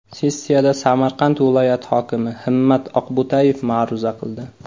Sessiyada Samarqand viloyat hokimi Himmat Oqbo‘tayev ma’ruza qildi.